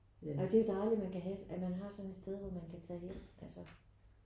Ej det er jo dejligt at man kan have at man har sådan et sted hvor man kan tage hen altså